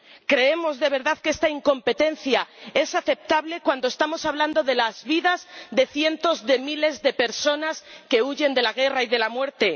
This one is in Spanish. ¿Creemos, de verdad, que esta incompetencia es aceptable cuando estamos hablando de las vidas de cientos de miles de personas que huyen de la guerra y de la muerte?